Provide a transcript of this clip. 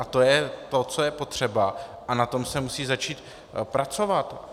A to je to, co je potřeba, a na tom se musí začít pracovat.